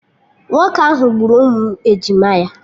Nwoke ahụ gburu ụmụ ejima ya